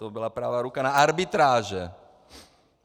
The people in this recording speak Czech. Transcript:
To byla pravá ruka na arbitráže.